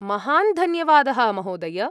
महान् धन्यवादः, महोदय।